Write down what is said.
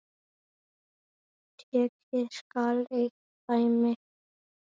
Tekið skal eitt dæmi.